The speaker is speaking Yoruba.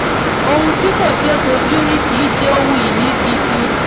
ohun tí kò ṣeé fojú rí kì í ṣe ohun ìní gidi.